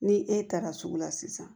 Ni e taara sugu la sisan